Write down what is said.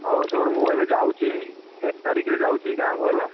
ହଉ ଶୁଣୁ ମୁଁ ଏବେ ଯାଉଛି ଏଇ ଏକତାରିଖରେ ଯାଉଛି ଗାଁ କୁ ହେଲା।